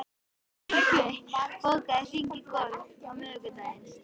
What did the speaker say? Sigurey, bókaðu hring í golf á miðvikudaginn.